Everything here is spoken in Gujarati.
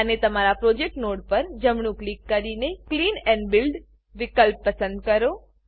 અને તમારા પ્રોજેક્ટ નોડ પર જમણું ક્લિક કરીને clean and build clean and build વિકલ્પ પસંદ કરો